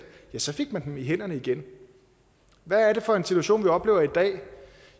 ja så fik man dem i hænderne igen hvad er det for en situation vi oplever i dag